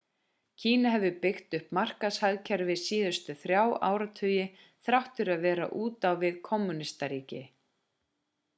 kína hefur byggt upp markaðshagkerfi síðustu þrjá áratugi þrátt fyrir að vera út á við kommúnískt ríki